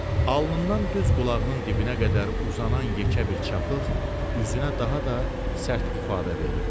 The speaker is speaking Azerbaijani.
Alnından düz qulağının dibinə qədər uzanan yekə bir çapıq üzünə daha da sərt ifadə verirdi.